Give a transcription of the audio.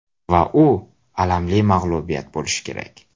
Va u alamli mag‘lubiyat bo‘lishi kerak.